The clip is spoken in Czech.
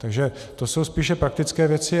Takže to jsou spíše praktické věci.